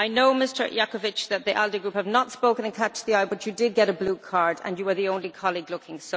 I know, Mr Jakovčić, that the ALDE Group have not spoken in catch-the-eye, but you did get a blue card and you were the only colleague looking.